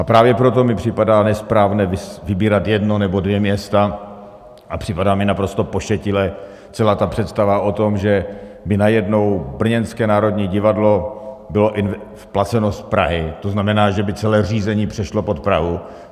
A právě proto mi připadá nesprávné vybírat jedno nebo dvě města a připadá mi naprosto pošetilá celá ta představa o tom, že by najednou brněnské Národní divadlo bylo placeno z Prahy, to znamená, že by celé řízení přešlo pod Prahu.